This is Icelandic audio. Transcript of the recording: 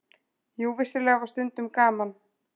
Jú, vissulega var stundum gaman.